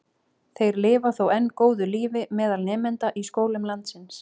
Þeir lifa þó enn góðu lífi meðal nemenda í skólum landsins.